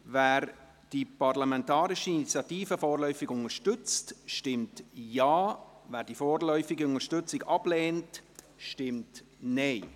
Wer die parlamentarische Initiative vorläufig unterstützt, stimmt Ja, wer die vorläufige Unterstützung ablehnt, stimmt Nein.